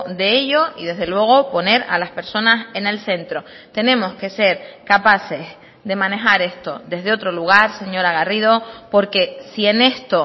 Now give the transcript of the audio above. de ello y desde luego poner a las personas en el centro tenemos que ser capaces de manejar esto desde otro lugar señora garrido porque si en esto